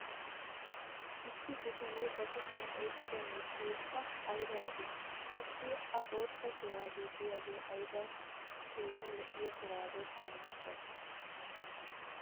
issi bitanee ba kushiyan oyqqido miishshay pa aybba lo'ii! qassi a bootta shuraabee diyaagee aybba keehi lo'iya shuraabe qommo gay?